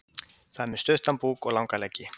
Það er með stuttan búk og langa leggi.